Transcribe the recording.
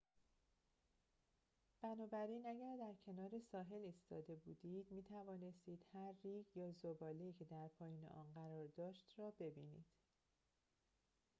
بنابراین اگر در کنار ساحل ایستاده بودید می‌توانستید هر ریگ یا ذباله‌ای که در پایین آن قرار داشت را ببینید